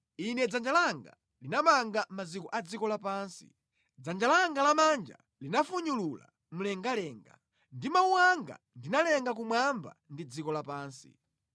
Inde dzanja langa linamanga maziko a dziko lapansi, dzanja langa lamanja linafunyulula mlengalenga. Ndi mawu anga ndinalenga kumwamba ndi dziko lapansi.